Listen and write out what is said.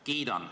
Kiidan.